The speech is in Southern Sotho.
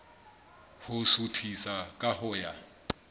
ho suthisa ka ho ya